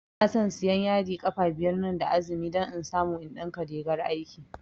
Inason siyan yadi ƙafa biyar nan da azumi don in samu in ɗinka rigar aiki